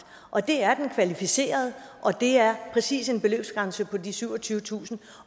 og det er den kvalificerede og det er præcis en beløbsgrænse på de syvogtyvetusind